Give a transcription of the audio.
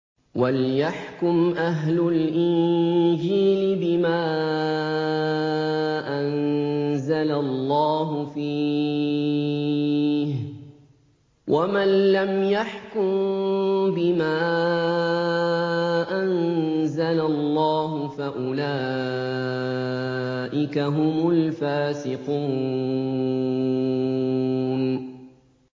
وَلْيَحْكُمْ أَهْلُ الْإِنجِيلِ بِمَا أَنزَلَ اللَّهُ فِيهِ ۚ وَمَن لَّمْ يَحْكُم بِمَا أَنزَلَ اللَّهُ فَأُولَٰئِكَ هُمُ الْفَاسِقُونَ